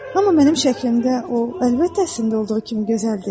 Amma mənim şəkilimdə o əlbəttə əslində olduğu kimi gözəl deyil.